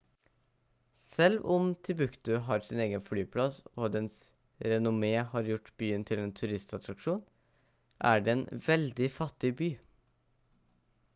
selv om timbuktu har sin egen flyplass og dens renommé har gjort byen til en turistattraksjon er det en veldig fattig by